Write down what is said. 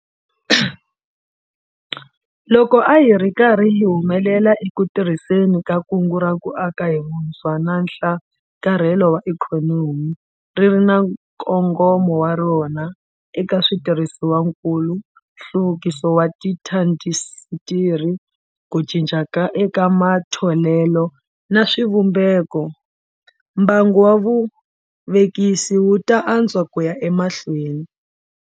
Loko a hi ri karhi hi humelela eku tirhiseni ka Kungu ra ku Aka hi Vutshwa na Nhlakarhelo wa Ikhonomi - ri ri na nkongomo wa rona eka switirhisiwakulu, nhluvukiso wa tiindasitiri, ku cinca eka matholelo na swivumbeko - mbangu wa vuvekisi wu ta antswa ku ya emahlweni.